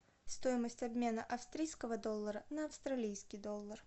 стоимость обмена австрийского доллара на австралийский доллар